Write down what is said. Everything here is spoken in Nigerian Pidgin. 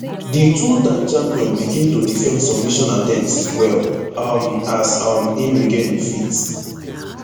di twotime champion begin to defend submission attempts well um as um im regain im feet